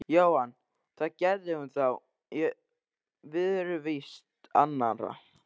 Jóhann: Það gerði hún þá í viðurvist annarra?